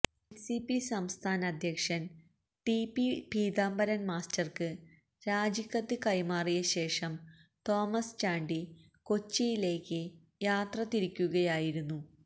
NCP സംസ്ഥാന അധ്യക്ഷൻ ടി പി പീതാംബരൻ മാസ്റ്റർക്ക് രാജിക്കത്ത് കൈമാറിയ ശേഷം തോമസ് ചാണ്ടി കൊച്ചിയിലേക്ക് യാത്ര തിരിക്കുകയായിരുന്നു